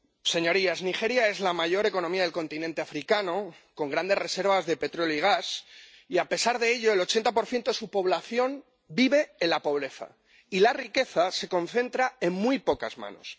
Señorías, Nigeria es la mayor economía del continente africano, con grandes reservas de petróleo y gas y, a pesar de ello, el 80 de su población vive en la pobreza y la riqueza se concentra en muy pocas manos.